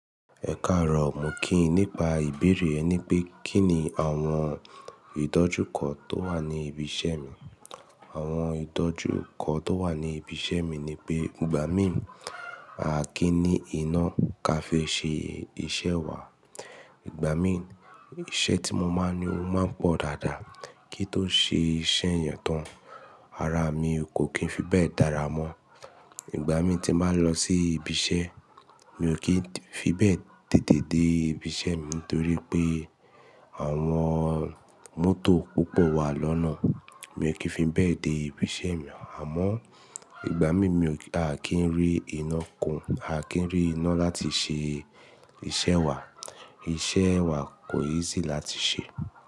Ẹ̀karọ̀, mo kí yin, nípà ìbèèrè ẹ ní pé kí ni àwọn idojukọ tó wà ní ìbí iṣẹ̀ mi. Àwọn idojukọ tó wà ní ìbí iṣẹ̀ mi ni pé ìgbà mí, a kí n í iná ká fi ṣe iṣẹ̀ wa. Ìgbà mí, iṣẹ́ tí mo máa ní o máa pọ̀ dáadáa kí n tó ṣe iṣẹ́ yẹn tán. Ara mi kò kí n fi bẹ́ẹ̀ dára mọ́. Ìgbà mí tí màá lọ sí ìbí iṣẹ́, mi ò kí n fi bẹ́ẹ̀ tètè dé ìbí iṣẹ́ mi torí pé àwọn mọ́tò púpọ̀ wà lọ́nà. Mi ò kí n fi bẹ́ẹ̀ dé ìbí iṣẹ́ mi. Àmọ́ ìgbà mí mi ò kí a kí n rí iná kún, a kí n rí iná láti ṣe iṣẹ́ wa. Iṣẹ́ wa kò easy láti ṣẹ.